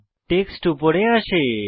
text উপরে আসে